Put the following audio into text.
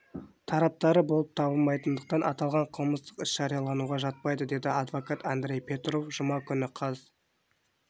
тараптары болып табылмайтындықтан аталған қылмыстық іс жариялануға жатпайды деді адвокат андрей петров жұма күні қаз